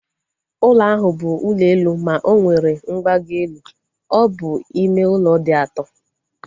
Ụlọ ahụ bụ ụlọ elu ma onwere mgbago elu. Ọ bụ ime ụlọ dị ato